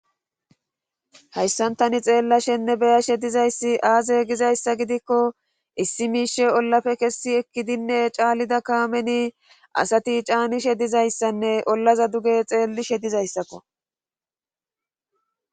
Hayssan taani xeelashenne be'ashe dizayssi aaze giikko issi miishi ollappe kesi ekkidi caanida kaamenni asati caanishe dizayssanne ollaza duge xeelishe dizayssakko.